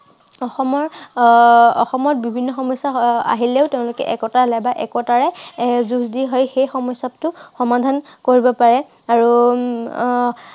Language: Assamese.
অসমৰ আহ অসমত বিভিন্ন সমস্য়া আহিলেও তেওঁলোকে একতা বা একতাৰে যুঁজ দি হৈ সেই সমস্য়াটো সমাধান কৰিব পাৰে আৰু উম আহ